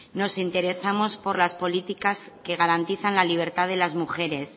nos interesamos por las políticas que garantizan la libertad de las mujeres